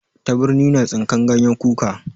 Tabirni na tsinkan ganyen kuka.